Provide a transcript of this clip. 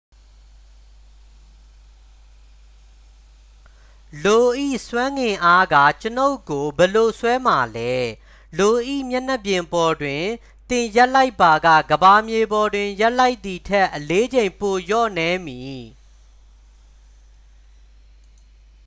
လို၏ ဆွဲငင်အားက ကျွန်ုပ်ကို ဘယ်လို ဆွဲမှာလဲ လို၏ မျက်နှာပြင်ပေါ်တွင် သင်ရပ်လိုက်ပါက ကမ္ဘာမြေပေါ်တွင် ရပ်လိုက်သည်ထက် အလေးချိန် ပိုလျော့နည်းမည်